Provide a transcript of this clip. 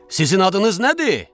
Sizin adınız nədir?